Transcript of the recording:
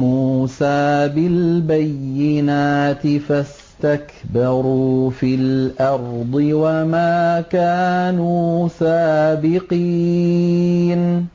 مُّوسَىٰ بِالْبَيِّنَاتِ فَاسْتَكْبَرُوا فِي الْأَرْضِ وَمَا كَانُوا سَابِقِينَ